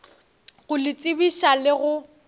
go le tsebiša le go